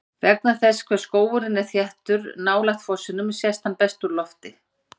vegna þess hve skógurinn er þéttur nálægt fossinum sést hann best úr lofti